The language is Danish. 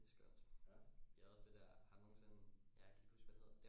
Det skønt vi havde også det der har du nogensinde ja jeg kan ikke huske hvad det hedder